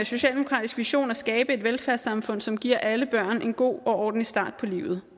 socialdemokratisk vision at skabe et velfærdssamfund som giver alle børn en god og ordentlig start på livet